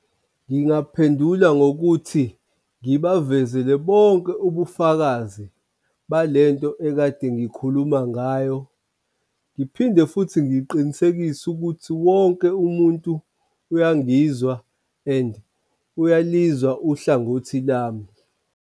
Ngingaphendula ngokuthi ngibavezele bonke ubufakazi bale nto ekade ngikhuluma ngayo. Ngiphinde futhi ngiqinisekise ukuthi wonke umuntu uyangizwa and uyalizwa uhlangothi lami.